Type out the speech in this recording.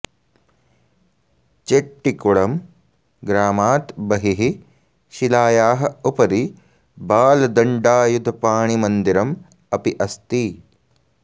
चेट्टिकुळं ग्रामात् बहिः शिलायाः उपरि बालदण्डायुधपाणिमन्दिरम् अपि अस्ति